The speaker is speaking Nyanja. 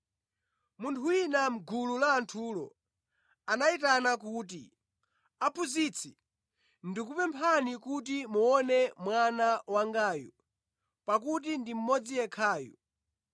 Munthu wina mʼgulu la anthulo anayitana kuti, “Aphunzitsi, ndikupemphani kuti muone mwana wangayu, pakuti ndi mmodzi yekhayu.